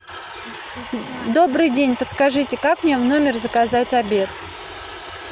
добрый день подскажите как мне в номер заказать обед